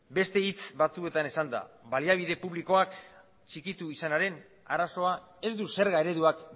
beste hitz batzuetan esanda baliabide publikoak txikitu izanaren arazoa ez du zerga ereduak